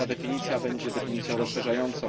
Ta definicja będzie definicją rozszerzającą.